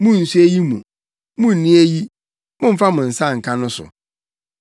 “Munnso eyi mu!” “Munnni eyi!” “Mommfa mo nsa nka!” no so?